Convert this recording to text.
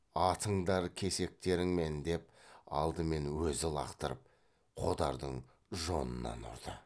атыңдар кесектеріңмен деп алдымен өзі лақтырып қодардың жонынан ұрды